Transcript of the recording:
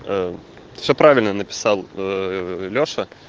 а всё правильно написал аа лёша